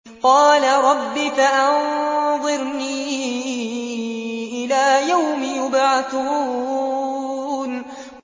قَالَ رَبِّ فَأَنظِرْنِي إِلَىٰ يَوْمِ يُبْعَثُونَ